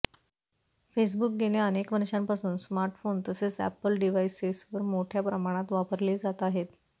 Facebook गेल्या अनेक वर्षांपासून स्मार्टफोन्स् तसेच अॅपल डिव्हाईसेसवर मोठ्या प्रमाणात वापरले जात आहे